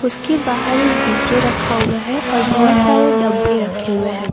उसके बाहर एक डी_जे रखा हुआ है और बहुत सारे डब्बे रखे हुए हैं।